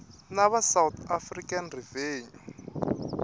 na va south african revenue